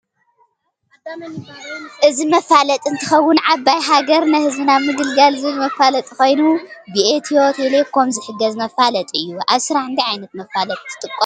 እዚ መፋለጢ እንትከውን ዓባይ ሃገርነ ህዝብን ኣብ ምግልጋል ዝብል መፈላጢ ኮይኑ ብኢትዮቴሌኮም ዝሕገዝ መፋለጢ እዩ። ኣብ ስራሕ እንታይ ዓይነት መፋለጢ ትጥቀሙ ?